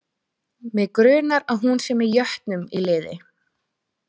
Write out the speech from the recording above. Mig grunar að hún sé með jötnum í liði.